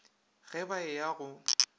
ge ba e ya go